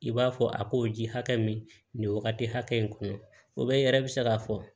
I b'a fɔ a k'o ji hakɛ min nin wagati hakɛ in kɔnɔ o bɛ yɛrɛ bɛ se k'a fɔ